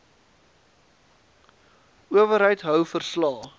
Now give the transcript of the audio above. owerheid hou verslae